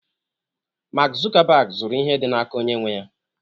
Mark Zuckerberg zụru ihe dị n'aka onye nwe ya